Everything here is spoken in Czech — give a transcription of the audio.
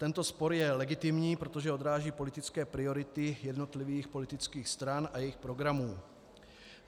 Tento spor je legitimní, protože odráží politické priority jednotlivých politických stran a jejich programů.